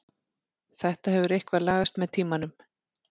Þetta hefur eitthvað lagast með tímanum.